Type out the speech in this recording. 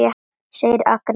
segir Agnes.